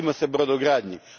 Vratimo se brodogradnji.